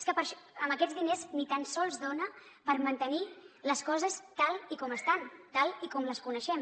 és que amb aquests diners ni tan sols dona per mantenir les coses tal com estan tal com les coneixem